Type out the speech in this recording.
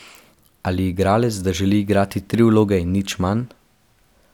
Ali igralec, da želi igrati tri vloge in nič manj.